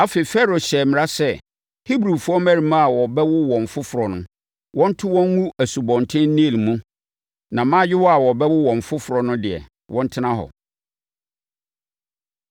Afei, Farao hyɛɛ mmara sɛ Herbrifoɔ mmarimaa a wɔbɛwo wɔn foforɔ no, wɔnto wɔn ngu Asubɔnten Nil mu na mmaayewa a wɔbɛwo wɔn foforɔ no deɛ, wɔntena hɔ.